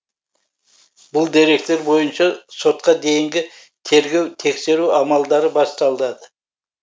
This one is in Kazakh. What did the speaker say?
бұл деректер бойынша сотқа дейінгі тергеу тексеру амалдары басталы